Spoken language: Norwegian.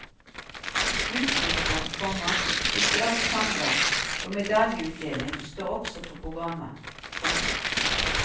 Utflukter, komma sosialt samvær og medaljeutdeling står også på programmet. punktum